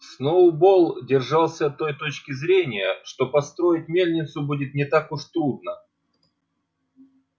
сноуболл держался той точки зрения что построить мельницу будет не так уж трудно